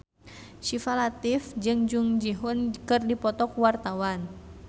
Syifa Latief jeung Jung Ji Hoon keur dipoto ku wartawan